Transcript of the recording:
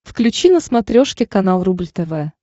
включи на смотрешке канал рубль тв